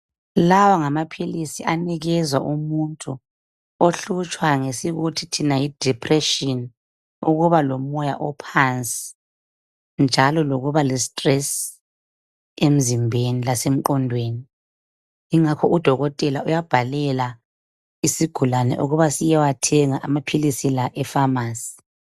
Lawa ngamaphilisi anikezwa umuntu ohlutshwa ngesikuthi thina yi depretshini ukubalomoya ophansi njalo. lokuba lestrrss emzimbeni lengqodweni. Ingakho udokotela uyabhalela isigulani ukuba siyethenga amaphilisi la efamasi.